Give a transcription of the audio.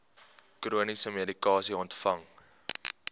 chroniese medikasie ontvang